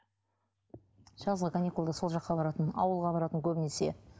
жазғы каникулда сол жаққа баратын ауылға баратын көбінесе